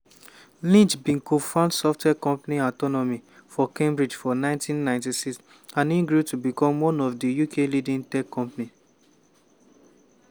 lynch bin co-found software company autonomy for cambridge for 1996 and e grow to become one of di uk leading tech companies.